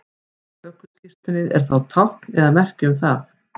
ökuskírteinið er tákn eða merki um það